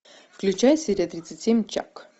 включай серия тридцать семь чак